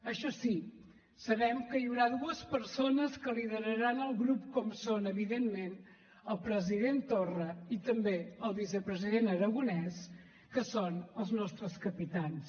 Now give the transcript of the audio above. això sí sabem que hi haurà dues persones que lideraran el grup com són evidentment el president torra i també el vicepresident aragonès que són els nostres capitans